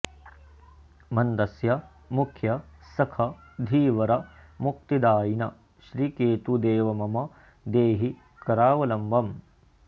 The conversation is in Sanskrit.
मन्दस्य मुख्य सख धीवर मुक्तिदायिन् श्री केतु देव मम देहि करावलम्बम्